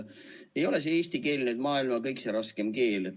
Ei ole see eesti keel maailma kõikse raskem keel.